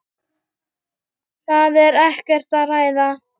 Það er ekkert að ræða.